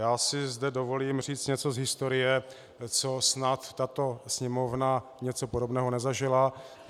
Já si zde dovolím říci něco z historie, co snad tato Sněmovna, něco podobného, nezažila.